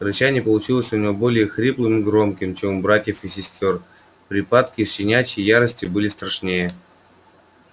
рычание получилось у него более хриплым и громким чем у братьев и сестёр припадки щенячьей ярости были страшнее